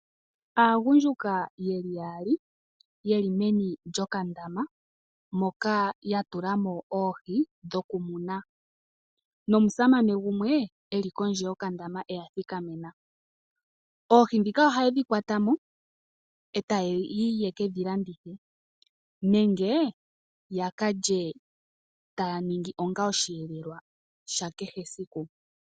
Aagundjuka ye li yaali ye li meni lyokandaama moka ya tula mo oohi dhokumuna nomusamane gumwe e li kondje yokandama e ya thikamena. Oohi ndhika ohaye dhi kwata mo e taye ke dhi landitha nenge ya ka lye taya ningi onga osheelelwa sha kehe esiku.